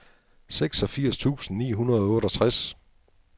seksogfirs tusind ni hundrede og otteogtres